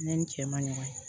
Ne ni n cɛ ma ɲɔgɔn ye